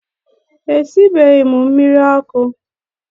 Esibeghị m mmiri